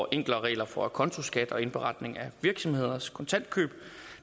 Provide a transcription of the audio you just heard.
enklere regler for acontoskat og indberetning af virksomheders kontantkøb